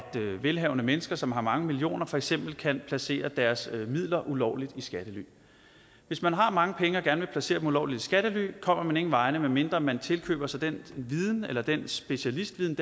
velhavende mennesker som har mange millioner for eksempel kan placere deres midler ulovligt i skattely hvis man har mange penge og gerne vil placere dem ulovligt i skattely kommer man ingen vegne medmindre man tilkøber sig den viden eller den specialistviden